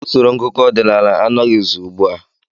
Usoro ngụkọ ọdinaala anọghịzi ugbu a.